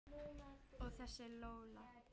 Og þessi Lola.